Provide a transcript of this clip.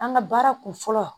An ka baara kun fɔlɔ